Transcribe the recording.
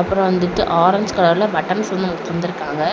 அப்புறம் வந்துட்டு ஆரஞ்சு கலர்ல பட்டன்ஸ் வந்து நமக்கு தந்துருக்காங்க.